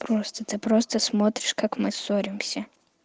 просто ты просто смотришь как мы ссоримся